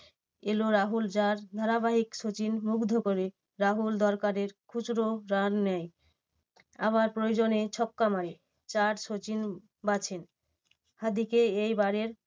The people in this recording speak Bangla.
কে এল রাহুল যার ধারাবাহিক সচিন মুগ্ধ করে রাহুল দরকারের খুচরো run নেয়। আবার প্রয়োজনে ছক্কা মারে, চার সচিন বাছেন। হার্দিককে এইবারের